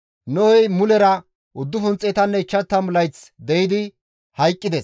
Nohey mulera 950 layth deyidi hayqqides.